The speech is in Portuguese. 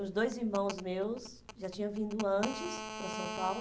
Os dois irmãos meus já tinham vindo antes para São Paulo.